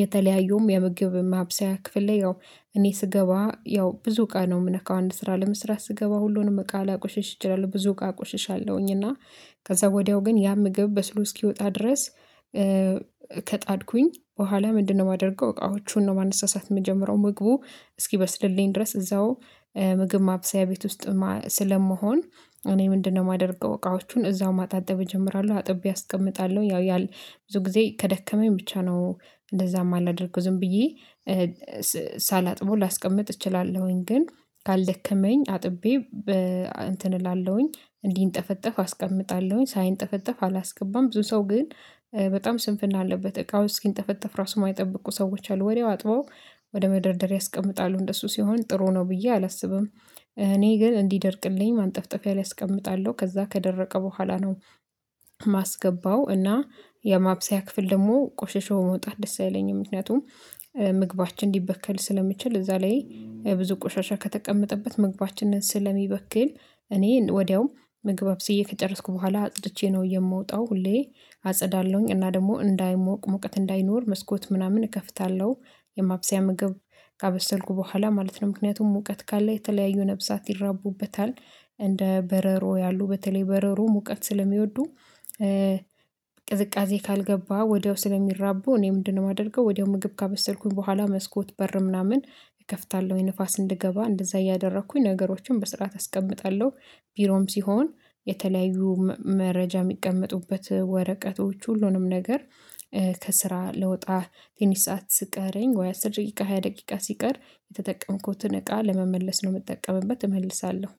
የተለያዩም የምግብ ማብሰያ ክፍል ላይ ያው እኔ ስገባ ያው ብዙ እቃ ነው የምነካው አንድ ስራ ለመስራት ስገባ ሁሉንም ቃል ላቆሽሽ እችላለሁ ብዙ እቃ አቁሽሻለሁኝ፤ እና ከዛ ወዲያው ግን ያ ምግብ በስሎ እስኪወጣ ድረስ ከጣድኩኝ በኋላ ምንድነው የማደርገው እቃዎቹን ነው ማነሳሳት የምጀምረው ምግቡ እስኪበስልልኝ ድረስ እዛው ምግብ ማብሰያ ቤት ውስጥ ስለመሆን እኔ ምንድነው የማደርገው እቃዎቹን እዛው ማጣጠብ እጀምራለሁ። አጥብ አስቀምጣለሁ ያው ያል ብዙ ጊዜ ከደከመኝ ብቻ ነው እንደዛቭማላደርገው ዝም ብዬ ሳላጥበው ላስቀምጥ እችላለሁኝ፤ ግን ካልደከመኝ አጥቤ በ እንትን እላለሁኝ እንዲንጠፈጠፍ አስቀምጣለሁኝ። ሳይንጠፈጠፍ አላስገባም ብዙ ሰው ግን በጣም ስንፍና አለበት እቃው እስኪንጠፈጠፍ ራሱ የማይጠብቁ ሰዎች አሉ ወዲያው አጥበው ወደ መደርደርያ ያስቀምጣሉ። እንደሱ ሲሆን ጥሩ ነው ብዬ አላስብም። እኔ ግን እንዲደርቅልኝ ማንጠፍጠፊያ ላይ አስቀምጣለሁ። ከዛ ከደረቀ በኋላ ነው ማስገባው እና የማብሰያ ክፍል ደግሞ ቆሽሾ መውጣት ደስ አይኝም ምክንያቱም ምግባችን ሊበከል ስለሚችል እዛ ላይ ብዙ ቆሻሻ ከተቀመጠበት ምግባችንን ስለሚበክል እኔ ወዲያው ምግብ አብስዬ ከጨረስኩ በኋላ አጽድቼ ነው የምወጣው ሁሌ አጸዳለሁኝ እና ደግሞ እንዳይሞቅ ሙቀት እንዳይኖር መስኮት ምናምን እከፍታለሁ። የማብሰያ ምግብ ካበሰልኩ በኋላ ማለት ነው። ምክንያቱም ሙቀት ካለ የተለያዩ ነብሳት ይራቡበታል። እንደ በረሮ ያሉ በተለይ በረሮ ሙቀት ስለሚወዱ ቅዝቃዜ ካልገባ ወዲያው ስለሚራቡ እኔ ምንድነው የማደርገው ወዲያው ምግብ ካበሰልኩኝ በኋላ መስኮት በር ምናምን እከፍታለሁኝ ንፋስ እንዲገባ እንደዛ እያደረኩኝ ነገሮችን በስርዓት አስቀምጣለሁ። ቢሮም ሲሆን የተለያዩ መረጃ የሚቀመጡበት ወረቀቶች ሁሉንም ነገር ከስራ ልወጣ ትንሽ ሰዓት ስቀረኝ ወይ አስር ደቂቃ ሃያ ደቂቃ ሲቀር የተጠቀምኩትን እቃ ለመመለስ ነው የምጠቀመበት እመልሳለሁ።